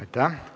Aitäh!